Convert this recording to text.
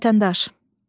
Vətəndaş.